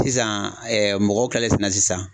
Sisan mɔgɔw kɛlen fɛnɛ sisan